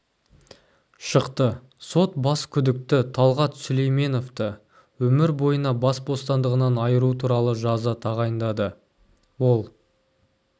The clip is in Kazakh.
шықты сот бас күдікті талғат сүлейменовті өмір бойына бас бостандығынан айыру туралы жаза тағайындады ол